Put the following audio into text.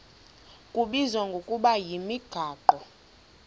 kubizwa ngokuba yimigaqo